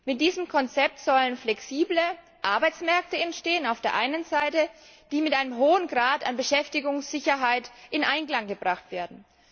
Mit diesem Konzept sollen auf der einen Seite flexible Arbeitsmärkte entstehen, die auf der anderen Seite mit einem hohen Grad an Beschäftigungssicherheit in Einklang gebracht werden.